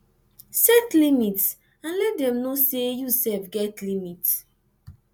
set limit and let dem know sey you sef get limit